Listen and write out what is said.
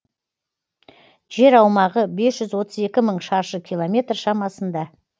жер аумағы бес жүз отыз екі мың шаршы километр шамасында